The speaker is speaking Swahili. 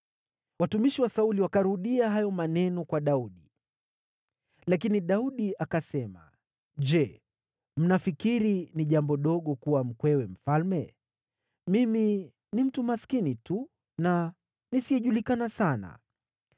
Watumishi wa Sauli wakarudia hayo maneno kwa Daudi. Lakini Daudi akasema, “Je, mnafikiri ni jambo dogo kuwa mkwewe mfalme? Mimi ni mtu maskini tu, na nisiyejulikana sana.”